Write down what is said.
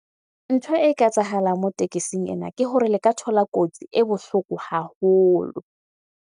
Ntho e ka etsahala moo tekesing ena ke hore le ka thola kotsi e bohloko haholo.